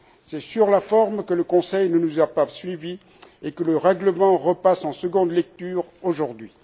C'est sur la forme que le Conseil ne nous a pas suivis et que le règlement repasse en seconde lecture aujourd'hui.